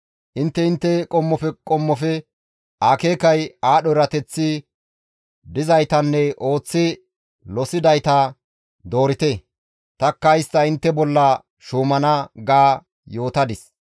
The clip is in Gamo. Intte intte qommofe qommofe akeekay, aadho erateththi dizaytanne ooththi losidayta doorite; tanikka istta intte bolla shuumana› ga yootadis.